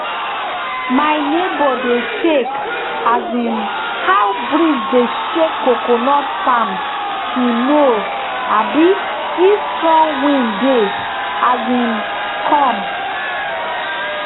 my neighbour dey check um how breeze dey shake coconut palm to know um if strong wind dey um come